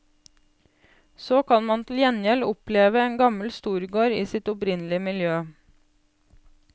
Så kan man til gjengjeld oppleve en gammel storgård i sitt opprinnelige miljø.